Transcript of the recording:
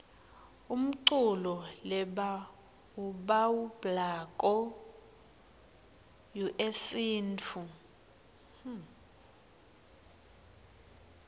umculo lebauwablako yuesintfu